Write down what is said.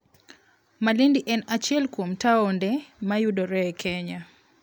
Malindi en achiel kuom taonde ma yudore e Kenya.